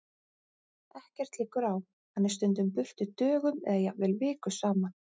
Ekkert liggur á, hann er stundum burtu dögum eða jafnvel vikum saman.